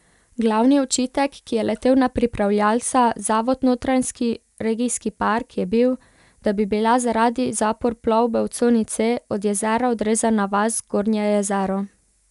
Glavni očitek, ki je letel na pripravljavca, zavod Notranjski regijski park, je bil, da bi bila zaradi zapor plovbe v coni C od jezera odrezana vas Gornje Jezero.